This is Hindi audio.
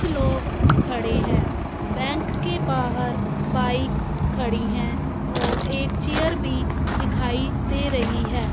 कुछ लोग खड़े हैं बैंक के बाहर बाइक खड़ी हैं और एक चेयर भी दिखाई दे रही है।